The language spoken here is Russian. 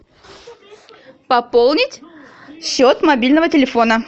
пополнить счет мобильного телефона